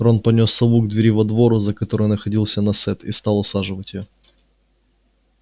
рон понёс сову к двери во двор за которой находился насест и стал усаживать её